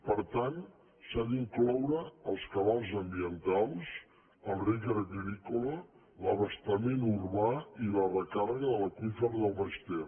per tant s’hi han d’incloure els cabals ambientals el reg agrícola l’abastament urbà i la recàrrega de l’aqüífer del baix ter